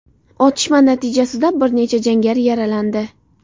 Otishma natijasida bir nechta jangari yaralandi.